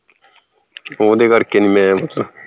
ਓਹ ਦੇ ਕਰਕੇ ਨੀ ਮੈਂ